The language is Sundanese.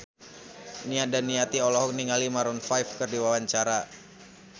Nia Daniati olohok ningali Maroon 5 keur diwawancara